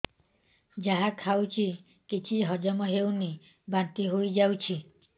ଯାହା ଖାଉଛି କିଛି ହଜମ ହେଉନି ବାନ୍ତି ହୋଇଯାଉଛି